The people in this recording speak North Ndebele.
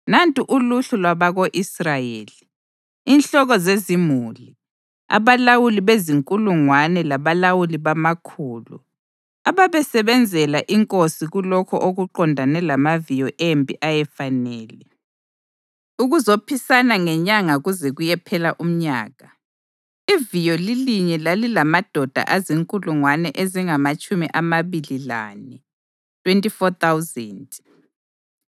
Nantu uluhlu lwabako-Israyeli, inhloko zezimuli, abalawuli bezinkulungwane labalawuli bamakhulu, ababesebenzela inkosi kulokho okuqondane lamaviyo empi ayefanele ukuzophisana ngenyanga kuze kuyephela umnyaka. Iviyo lilinye lalilamadoda azinkulungwane ezingamatshumi amabili lane (24,000).